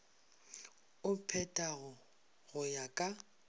o phethago go ya ka